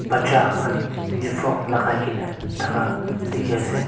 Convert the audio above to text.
Bacha khan uniform lagai kena thaka dekhi ase.